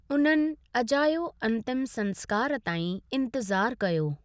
उननि अजायो अंतिम संस्कारु ताईं इंतिज़ारु कयो।